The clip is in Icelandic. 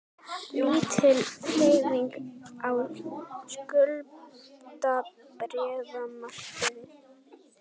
Lítil hreyfing á skuldabréfamarkaði